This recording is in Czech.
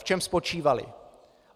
V čem spočívaly?